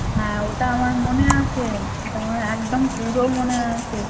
হ্যাঁ ওটা আমার মনে আছে হম তোমার একদম পুরো মনে আছে